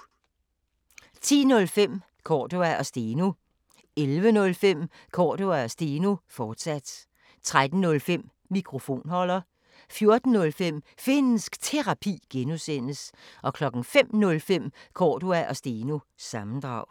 10:05: Cordua & Steno 11:05: Cordua & Steno, fortsat 13:05: Mikrofonholder 14:05: Finnsk Terapi (G) 05:05: Cordua & Steno – sammendrag